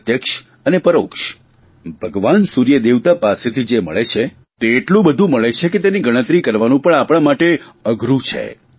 પ્રત્યક્ષ અને પરોક્ષ ભગવાન સૂર્યદેવતા પાસેથી જે મળે છે તે એટલું બધું મળે છે કે તેની ગણતરી કરવાનું પણ આપણા માટે અઘરૂં છે